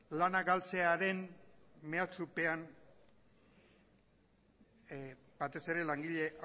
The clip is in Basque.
lana galtzearen mehatxupean batez ere langile